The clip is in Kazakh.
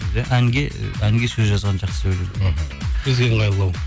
иә әнге сөз жазған бізге ыңғайлылау